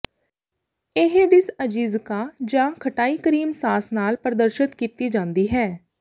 ਇਹ ਡਿਸ਼ ਅਜੀਜ਼ਿਕਾ ਜਾਂ ਖਟਾਈ ਕਰੀਮ ਸਾਸ ਨਾਲ ਪ੍ਰਦਰਸ਼ਤ ਕੀਤੀ ਜਾਂਦੀ ਹੈ